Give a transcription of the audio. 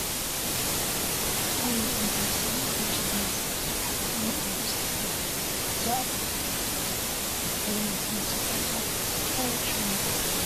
ኣብ እንዳ ቁንጅና ሳሎን ካብ ጨጉሪ መሳርሕታት ሓደ ዝኾነ ኣብ ርእሲ ተሰራሒት ዝኣቱ ሄልሜት ዝመስል ቆቢዕ ኣሎ፡፡ እዚ ቆቢዕ ሽሙ እንታይ ይበሃል?